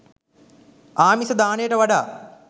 ආමිස දානයට වඩා